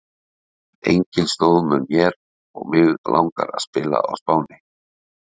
Enginn stóð með mér og mig langar að spila á Spáni.